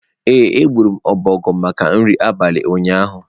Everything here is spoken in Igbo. Ee, egburu m ọbọgwụ maka nri abalị ụnyaahụ